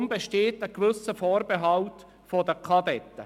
Deshalb besteht ein gewisser Vorbehalt seitens des VK-BE.